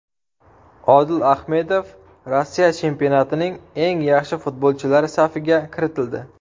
Odil Ahmedov Rossiya chempionatining eng yaxshi futbolchilari safiga kiritildi.